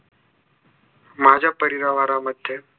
माझ्या परिवारामध्ये